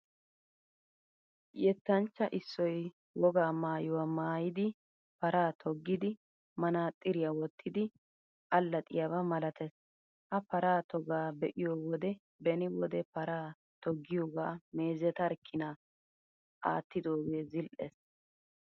Yettanchcha issoy wogaa maayuwaa maayidi, paraa toggidi, manaxiriyaa wottidi, allaxxiyabaa malatees. Ha paraa togaa be'iyo wode beni wode paraa toggiyoogaa meezetarkkina!! attidoogee zil''ees.